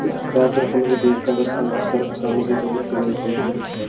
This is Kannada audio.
ಗ್ರಾಹಕರು ತಮಗೆ ಬೇಕಾದ ಸರಕು ಸಾಮಾಗ್ರಿಗಳನ್ನು ತೆಗೆದುಕೊಂಡು ಹೋಗುತ್ತಾರೆ.